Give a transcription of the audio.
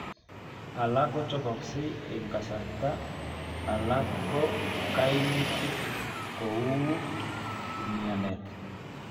Alak kochopoksee eng kasarta alak ko kaimitik kouu umianet